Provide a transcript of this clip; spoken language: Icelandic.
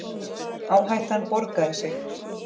Áhættan borgaði sig.